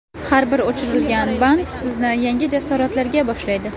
Har bir o‘chirilgan band sizni yangi jasoratlarga boshlaydi.